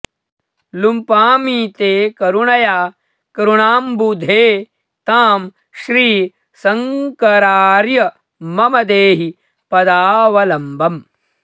लुम्पामि ते करुणया करुणाम्बुधे तां श्रीशङ्करार्य मम देहि पदावलम्बम्